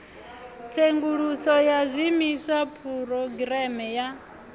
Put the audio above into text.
tsenguluso ya zwiimiswa phurogireme ya